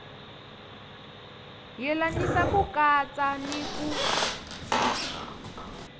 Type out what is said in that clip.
yelanisa ku katsa ni ku